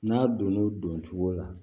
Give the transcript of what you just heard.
N'a donn'o don cogo la